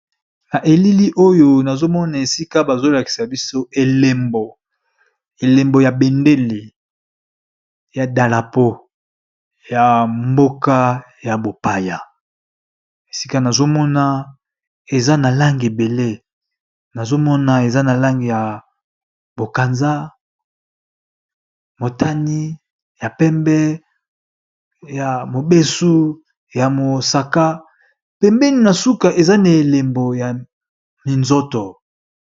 Na elili oyo nazo mona esika bazo lakisa biso elembo, elembo ya bendele ya dalapo ya mboka ya bopaya. Esika nazo mona eza na langi ebele nazo mona eza na langi ya bokanza, motani, ya pembe, ya mobesu, ya mosaka, pembeni na suka eza na elembo ya minzoto.